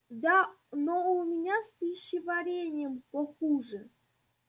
да но у меня с пищеварением похуже